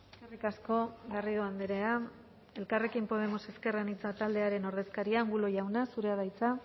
eskerrik asko garrido andrea elkarrekin podemos ezker anitza taldearen ordezkaria angulo jauna zurea da hitza